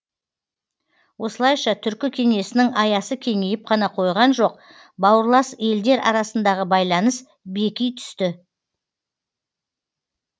осылайша түркі кеңесінің аясы кеңейіп қана қойған жоқ бауырлас елдер арасындағы байланыс беки түсті